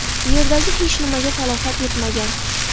Yerdagi hech nimaga talafot yetmagan.